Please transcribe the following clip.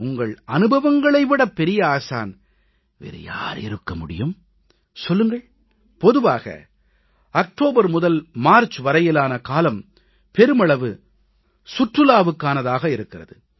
உங்கள் அனுபவங்களை விட பெரிய ஆசான் வேறு யார் இருக்க முடியும் சொல்லுங்கள் பொதுவாக அக்டோபர் முதல் மார்ச் வரையிலான காலம் பெருமளவு சுற்றுலாவுக்கானதாக இருக்கிறது